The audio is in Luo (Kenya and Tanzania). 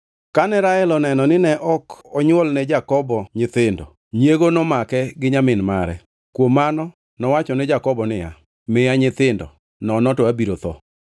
Kane Rael oneno nine ok nywolne Jakobo nyithindo, nyiego nomake gi nyamin mare. Kuom mano nowacho ne Jakobo niya, “Miya nyithindo, nono to abiro tho!”